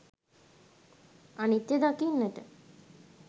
අනිත්‍ය දකින්නට